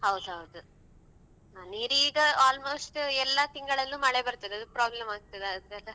ಹೌದೌದು ಅಹ್ ನೀರ್ ಈಗ almost ಎಲ್ಲ ತಿಂಗಳಲ್ಲು ಮಳೆ ಬರ್ತದೆ ಅದು problem ಆಗ್ತದಾ ಅಂತ ಅಲ್ಲ.